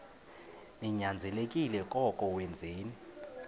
ninyanzelekile koko wenzeni